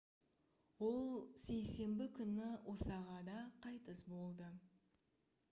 ол сейсенбі күні осағада қайтыс болды